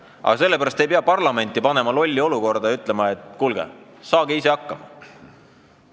Aga selle pärast ei pea parlamenti panema lolli olukorda ja ütlema, et kuulge, saage ise hakkama.